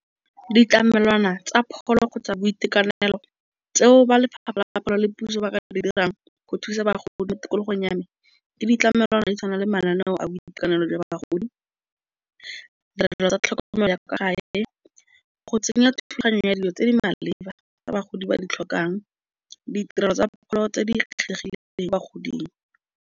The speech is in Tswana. Ditlamelwana tsa pholo kgotsa boitekanelo tseo ba Lefapha la Pholo le Puso ba ka di dirang. Go thusa bagolo mo tikologong ya me. Ditlamelwana di tshwana le mananeo a boitekanelo jwa ba bagodi. Ditirelo tsa tlhokomelo ya kwa gae le go tsenya thulaganyo ya dilo tse di maleba tsa bagodi ba di tlhokang ditirelo tsa pholo tse di kgethegileng kwa bagoding.